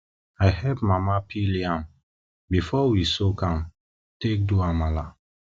i help mama peel yam before we um soak am take do amala